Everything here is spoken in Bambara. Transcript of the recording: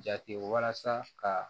Jate walasa ka